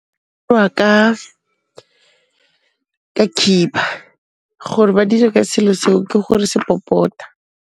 , ka khiba gore ba dire ka selo seo ke gore se popota.